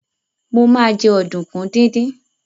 Mo ma jẹ́ ọ̀dùnkún díndín